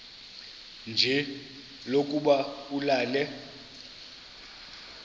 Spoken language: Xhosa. nje lokuba ulale